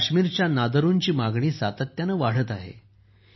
काश्मीरच्या नादरुंची मागणी सातत्याने वाढत आहे